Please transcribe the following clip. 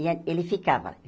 E a ele ficava.